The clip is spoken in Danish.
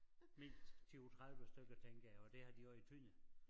Mindst 20 30 stykker tænker jeg og det har de også i Tønder